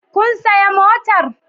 Kun sayi motar?